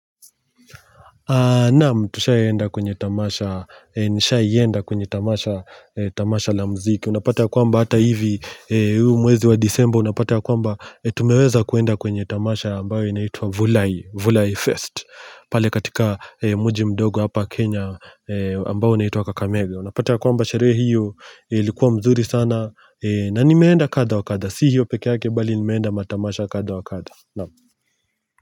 Naam, tushai enda kwenye tamasha, nishai enda kwenye tamasha la mziki. Unapata ya kwamba hata hivi, huu mwezi wa desemble, unapata ya kwamba tumeweza kuenda kwenye tamasha ambayo inaitwa Vulai, Vulai Fest. Pale katika muji mdogo hapa Kenya ambayo inaitwa Kakamege. Unapata ya kwamba sharehe hiyo ilikuwa mzuri sana. Na nimeenda kadha wakadha, si hiyo peke yake bali nimeenda matamasha kadha wakadha. Naam. Kwa hivyo.